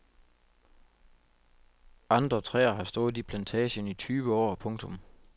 Andre træer har stået i plantagen i tyve år. punktum